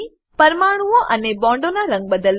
પરમાણુંઓ અને બોન્ડોનાં રંગ બદલવા